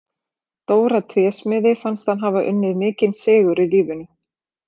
Dóra trésmiði fannst hann hafa unnið mikinn sigur í lífinu.